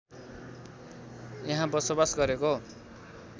यहाँ बसोबास गरेको